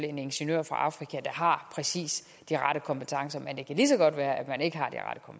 en ingeniør fra afrika der har præcis de rette kompetencer men det kan lige så godt være at man ikke har